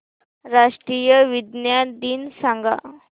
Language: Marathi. राष्ट्रीय विज्ञान दिन सांगा